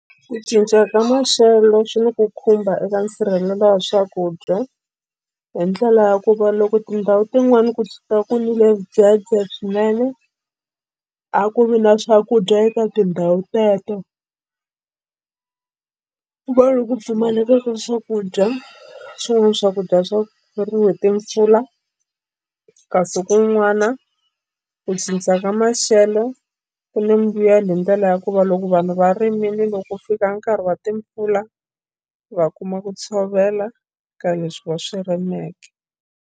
Ku cinca ka maxelo swi ni ku khumba eka nsirhelelo wa swakudya hi ndlela ya ku va loko tindhawu tin'wani kusuka ku nile swidzedze swinene a ku vi na swakudya eka tindhawu teto ku va loku ku pfumaleka ka swakudya swin'wana swakudya swi hi timpfula kasi kun'wana ku cinca ka maxelo ku ni mbuyelo hi ndlela ya ku va loko vanhu va rimile loko fika nkarhi wa timpfula va kuma ku tshovela ka leswi va swi rimeke.